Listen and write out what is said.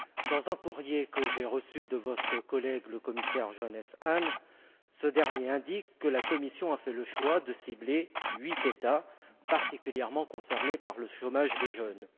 Dans un courrier que j'ai reçu de votre collègue, le commissaire Johannes Hahn, ce dernier indique que la Commission a fait le choix de cibler huit États particulièrement concernés par le chômage des jeunes.